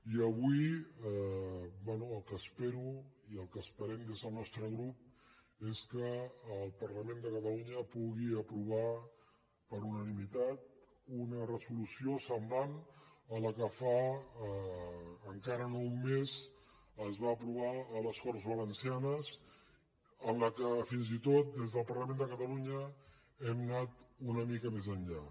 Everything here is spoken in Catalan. i avui bé el que espero i el que esperem des del nostre grup és que el parlament de catalunya pugui aprovar per unanimitat una resolució semblant a la que fa encara no un mes es va aprovar a les corts valencianes en què fins i tot des del parlament de catalunya hem anat una mica més enllà